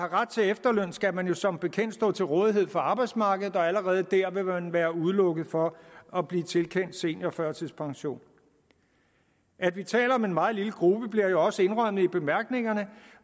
ret til efterløn skal man jo som bekendt stå til rådighed for arbejdsmarkedet og allerede der vil man være udelukket fra at blive tilkendt seniorførtidspension at vi taler om en meget lille gruppe bliver jo også indrømmet i bemærkningerne